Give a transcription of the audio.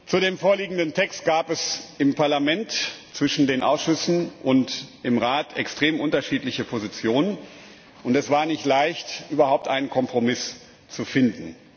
Zu dem vorliegenden Text gab es im Parlament zwischen den Ausschüssen und im Rat extrem unterschiedliche Positionen. Es war nicht leicht, überhaupt einen Kompromiss zu finden.